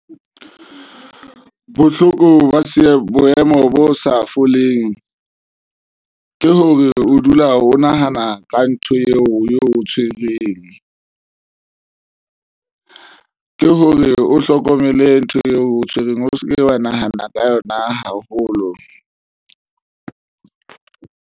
Bohloko ba se boemo bo sa foleng ke hore o dula o nahana ka ntho eo o tshwereng ke hore o hlokomele ntho eo o tshwereng o se ke wa nahana ka yona haholo.